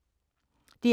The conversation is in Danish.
DR K